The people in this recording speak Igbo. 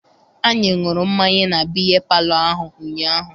Anyị ṅụrụ mmanya na biya palọ ahụ ụnyaahụ.